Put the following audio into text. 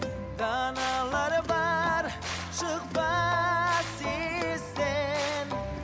даналар бар шықпас естен